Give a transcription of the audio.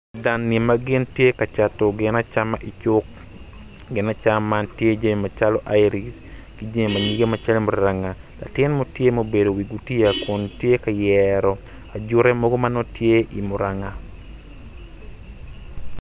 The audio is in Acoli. Dan-ni ma gin tye ka cato gin acama icuk gin acama man tye jami macalo iric ki jami manyiga calo muranga latin mo tye ma gubedo i wi gutiya kun tye ka nyero acute mogo manongo tye i muranga